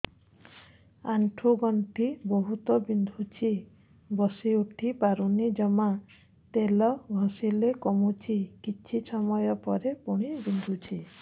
ଆଣ୍ଠୁଗଣ୍ଠି ବହୁତ ବିନ୍ଧୁଛି ବସିଉଠି ପାରୁନି ଜମା ତେଲ ଘଷିଲେ କମୁଛି କିଛି ସମୟ ପରେ ପୁଣି ବିନ୍ଧୁଛି